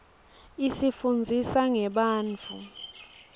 isifunndzisa ngebantfu